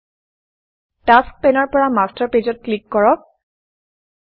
tasks task পেনৰ পৰা master পেজেছ মাষ্টাৰ পেজত ক্লিক কৰক